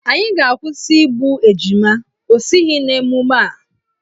Anyị ga-akwụsị igbu ejima, ọ soghi n'emume a.